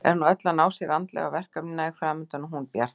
Er nú öll að ná sér andlega, verkefni næg framundan og hún bjartsýn.